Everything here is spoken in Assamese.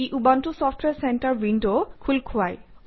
ই উবুণ্টু চফট্ৱেৰ চেণ্টাৰ উইণ্ড খোল খুৱায়